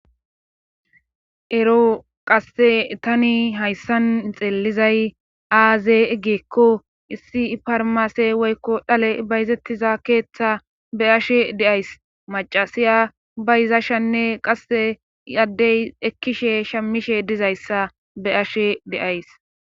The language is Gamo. ero qasse tani hayssan xeelizay aaze geekko issi parmase woykko dhale bayzettiza keeththa be ashe deays macasiya bayizashanne qasse i addey ekkishe shammishe dizayssa be7ashe deays